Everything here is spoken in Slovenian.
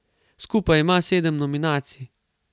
Skupaj ima sedem nominacij.